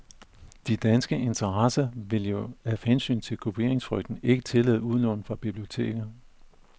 De danske interesser vil jo, af hensyn til kopieringsfrygten, ikke tillade udlån fra biblioteker.